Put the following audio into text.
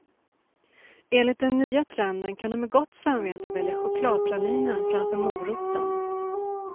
Enligt den nya trenden kan du med gott samvete välja chokladpralinen framför moroten.